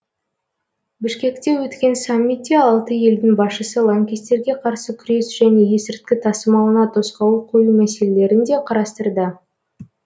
бішкекте өткен саммитте алты елдің басшысы лаңкестерге қарсы күрес және есірткі тасымалына тосқауыл қою мәселелерін де қарастырды